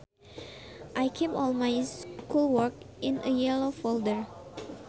I keep all my schoolwork in a yellow folder